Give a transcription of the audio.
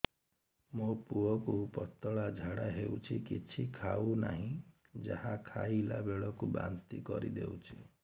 ମୋ ପୁଅ କୁ ପତଳା ଝାଡ଼ା ହେଉଛି କିଛି ଖାଉ ନାହିଁ ଯାହା ଖାଇଲାବେଳକୁ ବାନ୍ତି କରି ଦେଉଛି